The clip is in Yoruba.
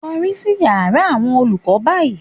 Kọrí sí yàrá àwọn olùkọ́ báyìí